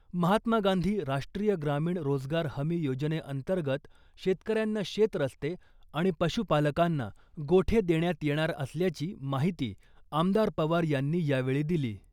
महात्मा गांधी राष्ट्रीय ग्रामीण रोजगार हमी योजनेअंतर्गत शेतकऱ्यांना शेत रस्ते आणि पशु पालकांना गोठे देण्यात येणार असल्याची माहिती आमदार पवार यांनी यावेळी दिली .